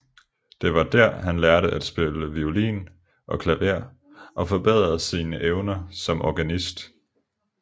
Det var dér han lærte at spille violin og klaver og forbedrede sine evner som organist